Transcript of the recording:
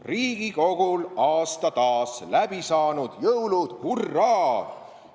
Riigikogul aasta taas läbi saanud, jõulud – hurraa!